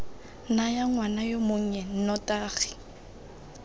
nayang ngwana yo monnye nnotagi